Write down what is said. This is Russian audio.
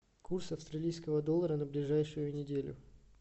курс австралийского доллара на ближайшую неделю